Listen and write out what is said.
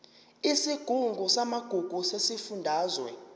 isigungu samagugu sesifundazwe